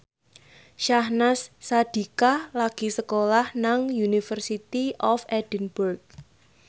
Syahnaz Sadiqah lagi sekolah nang University of Edinburgh